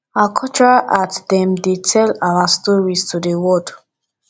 our cultural art dem dey tell our stories to di world